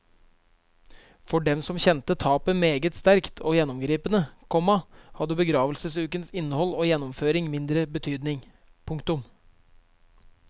For dem som kjente tapet meget sterkt og gjennomgripende, komma hadde begravelsesukens innhold og gjennomføring mindre betydning. punktum